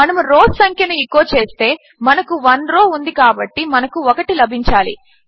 మనము రౌస్ సంఖ్యను ఎచో చేస్తే మనకు 1 రౌ ఉంది కాబట్టి మనకు 1 లభించాలి